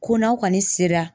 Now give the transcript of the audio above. Ko n'aw kɔni sera